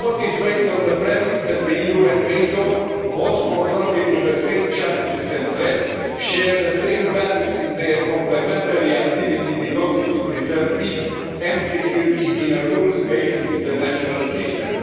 The report is based on the premise that the EU and NATO, both confronted with the same challenges and threats, share the same values in their complementary activity devoted to preserving peace and security in a rules based international system.